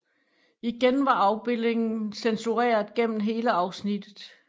Igen var afbildningen censureret gennem hele afsnittet